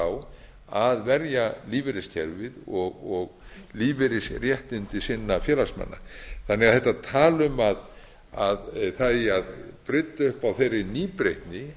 á að verja lífeyriskerfið og lífeyrisréttindi sinna félagsmanna þetta tal um að það eigi að brydda upp á þeirri nýbreytni